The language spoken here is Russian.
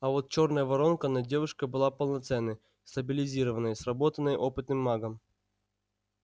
а вот чёрная воронка над девушкой была полноценной стабилизированной сработанной опытным магом